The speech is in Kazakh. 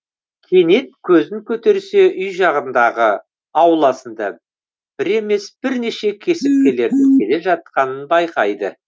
кенет көзін көтерсе үй жағындағы ауласына бір емес бірнеше кесірткелердің келе жатқанын байқайды